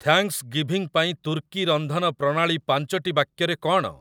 Thanksgiving ପାଇଁ ତୁର୍କୀ ରନ୍ଧନ ପ୍ରଣାଳୀ ପାଞ୍ଚଟି ବାକ୍ୟରେ କ'ଣ?